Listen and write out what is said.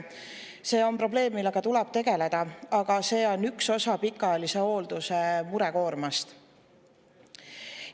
See on probleem, millega tuleb tegeleda, aga see on vaid üks osa pikaajalise hoolduse murekoormast.